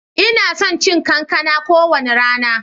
Ina son cin kankana kowane rana.